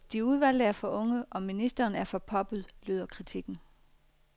De udvalgte er for unge og ministeren er for poppet, lyder kritikken.